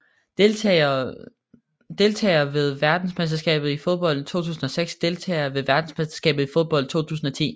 Deltagere ved verdensmesterskabet i fodbold 2006 Deltagere ved verdensmesterskabet i fodbold 2010